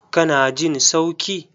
Ka na jin sauki?